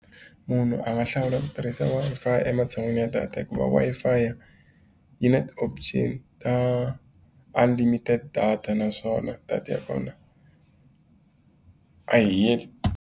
Munhu a nga hlawula ku tirhisa Wi-Fi ematshan'wini ya data hikuva Wi-Fi yi na ti-option ta unlimited data naswona data ya kona a yi heli.